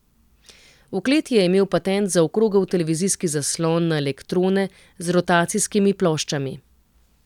V kleti je imel patent za okrogel televizijski zaslon na elektrone z rotacijskimi ploščami.